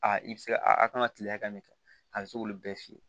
Aa i bɛ se a kan ka kile hakɛ min kɛ a bɛ se k'olu bɛɛ f'i ye